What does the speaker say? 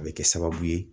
A bɛ kɛ sababu ye